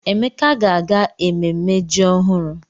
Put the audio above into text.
Emeka ga-aga ememme ji ọhụrụ.